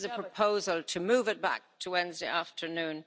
So this is a proposal to move it back to Wednesday afternoon.